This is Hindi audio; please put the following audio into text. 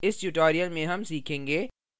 इस tutorial में हम सीखेंगे